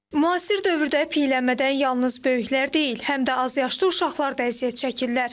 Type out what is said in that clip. Müasir dövrdə piyələnmədən yalnız böyüklər deyil, həm də azyaşlı uşaqlar da əziyyət çəkirlər.